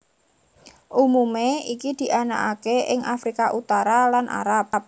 Umumé iki dianakaké ing Afrika Utara lan Arab